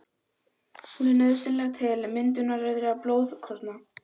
Hún er nauðsynleg til myndunar rauðra blóðkorna.